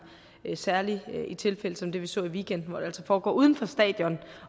i særlige tilfælde som det vi så i weekenden hvor det altså foregår uden for stadion